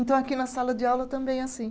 Então aqui na sala de aula também é assim.